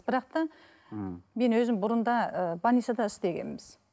бірақ та мхм мен өзім бұрын да ы больницада істегенбіз